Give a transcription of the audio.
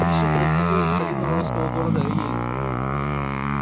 пришвин происходил из старинного русского города елица